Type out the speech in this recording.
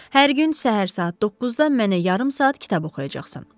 Hər gün səhər saat 9-da mənə yarım saat kitab oxuyacaqsan.